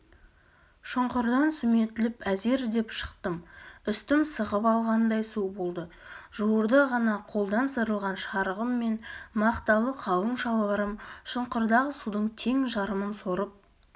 шұңқырдан сүметіліп әзер деп шықтым үстім сығып алғандай су болды жуырда ғана қолдан сырылған шарығым мен мақталы қалың шалбарым шұңқырдағы судың тең жарымын сорып